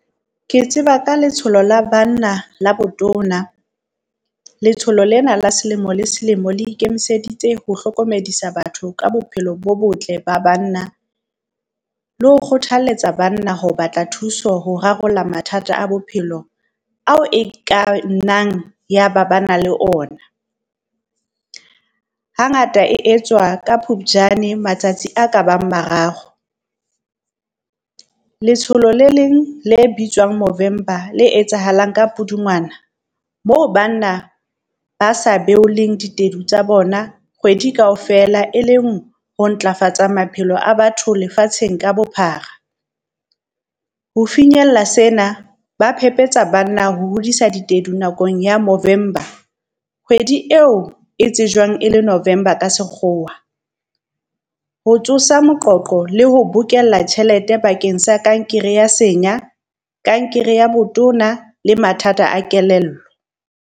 Ke tseba ka letsholo la banna le botona, letsholo lena la selemo le selemo le ikemiseditse ho hlokomedisa batho ka bophelo bo botle ba banna, le ho kgothalletsa banna ho batla thuso ho rarolla mathata a bophelo ao e ka nnang ya ba ba na le ona. Hangata e etswa ka Phupjane matsatsi a ka bang mararo, letsholo le leng le bitswang Movember le etsahalang ka Pudungwana moo banna ba sa beoleng ditedu tsa bona kgwedi kaofela, e leng ho ntlafatsa maphelo a batho lefatsheng ka bophara. Ho finyella sena, ba phephetsa banna ho hodisa ditedu nakong ya Movember, kgwedi eo e tsejwang e le November ka sekgowa, ho tsosa moqoqo le ho bokella tjhelete bakeng sa kankere ya senya, kankere ya botona le mathata a kelello.